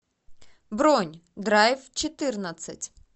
бронь драйв четырнадцать